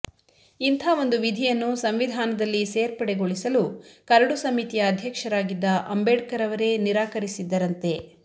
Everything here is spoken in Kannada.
ಇಂಥ ಒಂದು ವಿಧಿಯನ್ನು ಸಂವಿಧಾನದಲ್ಲಿ ಸೇರ್ಪಡೆಗೊಳಿಸಲು ಕರಡು ಸಮಿತಿಯ ಅಧ್ಯಕ್ಷರಾಗಿದ್ದ ಅಂಬೇಡ್ಕರ್ ಅವರೇ ನಿರಾಕರಿಸಿದ್ದರಂತೆ